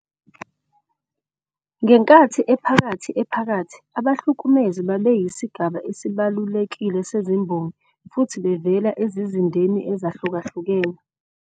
NgeNkathi Ephakathi Ephakathi, abahlukumezi babeyisigaba esibalulekile sezimbongi futhi bevela ezizindeni ezahlukahlukene.